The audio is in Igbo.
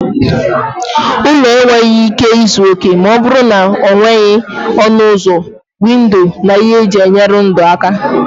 Ụlọ enweghị ike izu oke ma ọ bụrụ na enweghị ọnụ ụzọ, windo na ihe eji enyere ndụ aka.